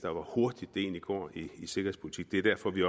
og hvor hurtigt det egentlig kan gå i sikkerhedspolitik det er derfor at vi